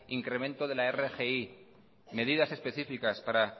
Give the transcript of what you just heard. incremento de la rgi medidas específicas para